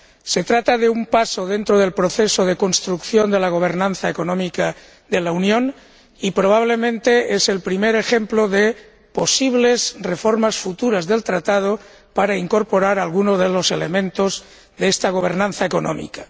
Se trata de un paso dentro del proceso de construcción de la gobernanza económica de la Unión y, probablemente, es el primer ejemplo de posibles reformas futuras del Tratado para incorporar alguno de los elementos de esa gobernanza económica.